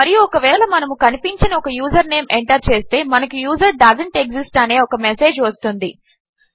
మరియు ఒకవేళ మనము కనిపించని ఒక యూజర్ నేం ఎంటర్ చేస్తే మనకు యూజర్ డోసెంట్ ఎక్సిస్ట్ అనే ఒక మెసేజ్ వస్తుంది